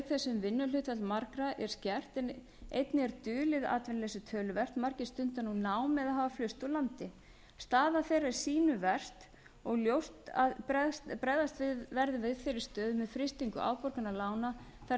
þess sem vinnuhlutfall margra er skert en einnig er dulið atvinnuleysi töluvert margir stunda nú nám eða hafa flust úr landi staða þeirra er sýnu verst og ljóst að bregðast verður við þeirri stöðu með frystingu afborgana lána þar til